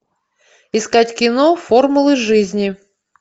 искать кино формулы жизни